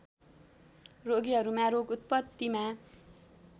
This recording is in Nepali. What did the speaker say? रोगीहरूमा रोग उत्पत्तिमा